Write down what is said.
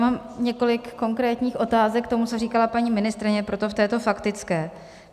Mám několik konkrétních otázek k tomu, co říkala paní ministryně, proto v této faktické.